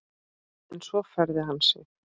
En svo færði hann sig.